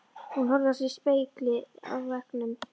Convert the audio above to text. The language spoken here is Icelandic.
Hún horfði á sig í spegli á veggnum.